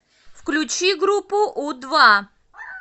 включи группу у два